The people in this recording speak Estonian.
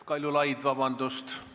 Kaljulaid, vabandust!